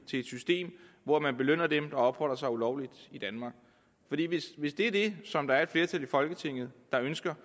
et system hvor man belønner dem der opholder sig ulovligt i danmark hvis det er det som der er et flertal i folketinget der ønsker